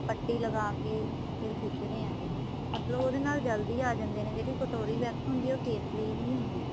ਪੱਟੀ ਲਗਾਕੇ ਫੇਰ ਖਿੱਚਦੇ ਹੈਗੇ ਮਤਲਬ ਉਹਦੇ ਨਾਲ ਜਲਦੀ ਆਂ ਜਾਂਦੇ ਨੇ ਜਿਹੜੀ ਕਟੋਰੀ wax ਹੁੰਦੀ ਏ ਉਹ face ਲਈ ਹੀ ਹੁੰਦੀ ਏ